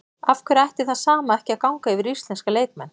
Af hverju ætti það sama ekki að ganga yfir íslenska leikmenn?